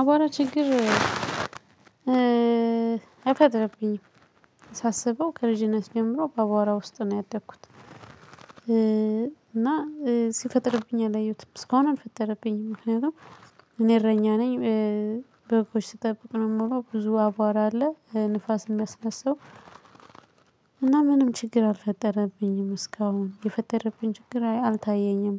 አቧራ ችግር አይፈጥርብኝም። ሳስበው ከልጅነት ጀምሮ በአቧራ ውስጥ ነው ያደኩት። እና ሲፈጥርብኝ አላየሁትም። እስካሁን አልፈጠረብኝም ምክንያቱም እኔ እረኛ ነኝ። በጎች ስጠብቅ ነው የምውለው ብዙ አቧራ አለ ንፋስ የሚያስነሳው እና ምንም ችግር አልፈጠረብኝም እስካሁን የፈጠረብኝ ችግር አልታየኝም።